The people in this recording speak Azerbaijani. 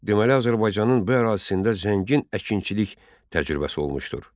Deməli Azərbaycanın bu ərazisində zəngin əkinçilik təcrübəsi olmuşdur.